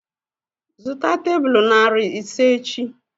Zụta tebụl narị ise echi!